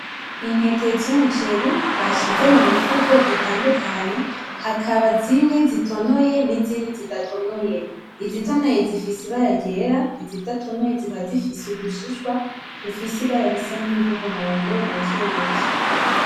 Intete z’umuceri bashize mu mifuko itandukanye hakaba zimwe zitonoye nizindi zidatonoye izitonoye zifise ibara ryera izidatonoye zikaba zifise udushishwa dufise ibara risa nki ry’umuhondo buke buke .